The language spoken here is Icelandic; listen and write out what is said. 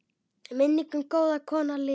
Minning um góða kona lifir.